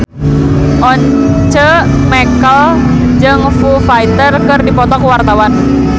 Once Mekel jeung Foo Fighter keur dipoto ku wartawan